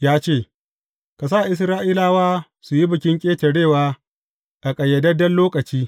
Ya ce, Ka sa Isra’ilawa su yi Bikin Ƙetarewa a ƙayyadadden lokaci.